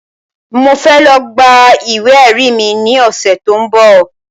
Mo fẹ́ lọ gba ìwé ẹ̀rí mi ní ọ̀sẹ̀ tí ó ń bọ̀